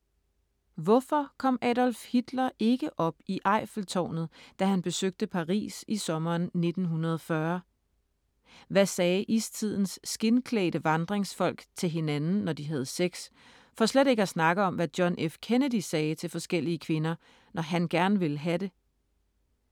Hvorfor kom Adolf Hitler ikke op i Eiffeltårnet, da han besøgte Paris i sommeren 1940? Hvad sagde istidens skindklædte vandringsfolk til hinanden, når de havde sex, for slet ikke at snakke om hvad John F. Kennedy sagde til forskellige kvinder, når han gerne ville have det?